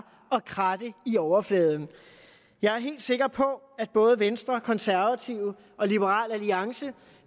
kratter i overfladen jeg er helt sikker på at både venstre konservative og liberal alliance